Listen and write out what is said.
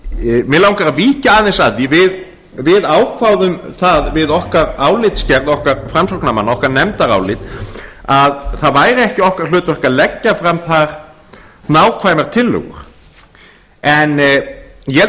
langar að víkja aðeins að því við ákváðum það við okkar álitsgerð okkar framsóknarmanna okkar nefndarálit að það væri ekki okkar hlutverk að leggja fram þar nákvæmar tillögur ég held að